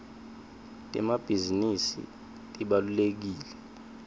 temabhisinisi tibalulekile